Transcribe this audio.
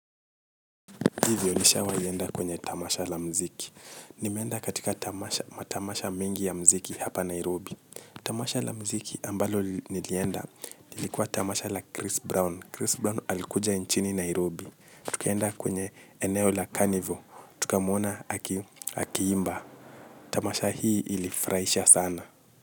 Ndivyo nishawai enda kwenye tamasha la mziki. Nimeenda katika matamasha mengi ya mziki hapa Nairobi. Tamasha la mziki ambalo nilienda lilikuwa tamasha la Chris Brown. Chris Brown alikuja nchini Nairobi. Tukenda kwenye eneo la Carnival. Tukamuona akiimba. Tamasha hii ilifurahisha sana.